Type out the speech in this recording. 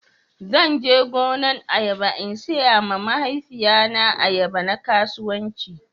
Zan je gonan ayaba in siya ma mahaifiya na ayaba na kasuwanci